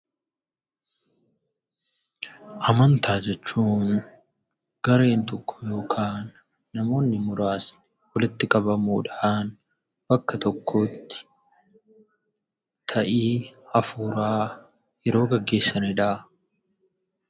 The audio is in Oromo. Amantaa jechuun gareen tokko yookaan namoonni muraasni walitti qabamuudhaan bakka tokkotti ta'ii hafuuraa yeroo gaggeessanidha.